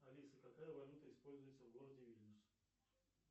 алиса какая валюта используется в городе вильнюс